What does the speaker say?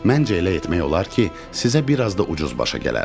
Məncə elə etmək olar ki, sizə bir az da ucuz başa gələr.